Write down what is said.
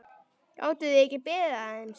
Gátuð þið ekki beðið aðeins?